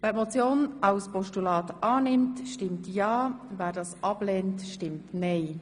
Wer den Vorstoss als Postulat annimmt, stimmt ja, wer es ablehnt, stimmt nein.